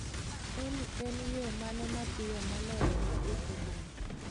Olly en yo mane mapiyo moloyo ma dhi e boma